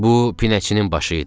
Bu pinəçinin başı idi.